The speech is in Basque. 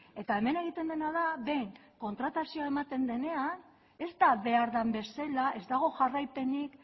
eta hemen egiten dena da behin kontratazioa ematen denean ez da behar den bezala ez dago jarraipenik